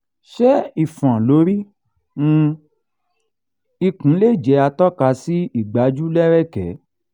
ṣé ifon lori um ikun le jẹ́ atoka si igbaju lereke?